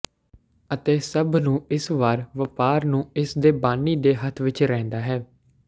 ਅਤੇ ਸਭ ਨੂੰ ਇਸ ਵਾਰ ਵਪਾਰ ਨੂੰ ਇਸ ਦੇ ਬਾਨੀ ਦੇ ਹੱਥ ਵਿਚ ਰਹਿੰਦਾ ਹੈ